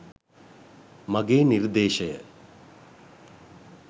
මගේ නිර්දේශය.